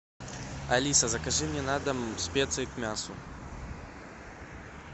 алиса закажи мне на дом специи к мясу